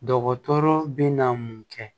Dɔgɔtɔrɔ bɛ na mun kɛ